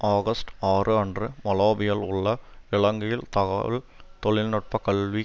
August ஆறு அன்று மாலபேயில் உள்ள இலங்கை தகவல் தொழில் நுட்ப கல்வி